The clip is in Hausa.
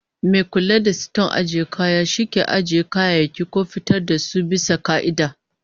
Mai kula da siton ajiyar kaya shi ke ajiye kayayyaki ko fitar da su bisa ka'ida